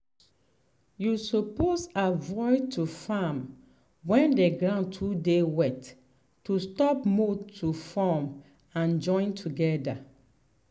you suppose avoid to farm when the ground too dey wet to stop mud to form and join together.